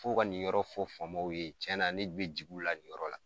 Fɔ u ka nin yɔrɔ fɔ faamaw ye cɛna ne be ji'u la nin yɔrɔ la